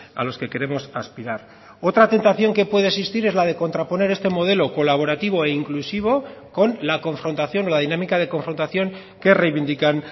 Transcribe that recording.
a los que queremos aspirar otra tentación que puede existir es la de contraponer este modelo colaborativo e inclusivo con la confrontación o la dinámica de confrontación que reivindican